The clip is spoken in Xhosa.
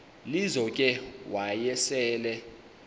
lizo ke wayesel